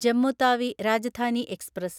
Jammu Tawi Rajdhani express